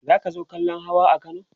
zaka zo kallan Hawa a Kano?